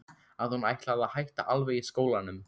Að hún ætlaði að hætta alveg í skólanum.